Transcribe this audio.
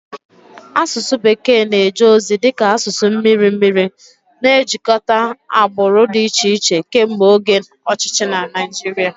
Asụsụ bekee na-eje ozi dị ka asụsụ mmiri mmiri, na-ejikọta agbụrụ dị iche iche kemgbe oge ọchịchị na Naịjirịa.